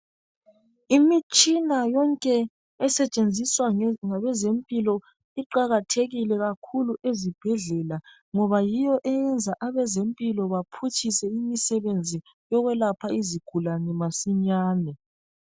Imitshina yonke esetshenziswa ngabezempilo iqalathekile kakhulu ezibhedlela ngoba yiyo eyenza abezempilo baphutshise imisebenzi yokwelapha izigulane masinyane.